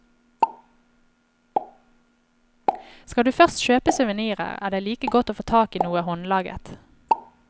Skal du først kjøpe souvenirer, er det like godt å få tak i noe håndlaget.